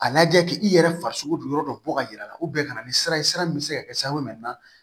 A lajɛ k'i yɛrɛ farisogo don yɔrɔ dɔ bɔ ka yir'a la u bɛn ka na ni sira ye sira min bɛ se ka kɛ siraban